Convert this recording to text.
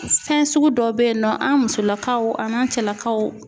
Fɛn sugu dɔw bɛ yen nɔ, an musolakaw ani n'an cɛlakaw